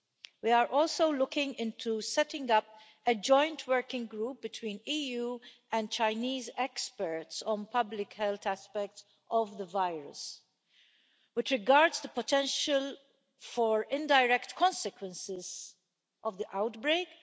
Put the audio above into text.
We are also looking into setting up a joint working group between EU and Chinese experts on public health aspects of the virus, which regards the potential for indirect consequences of the outbreak.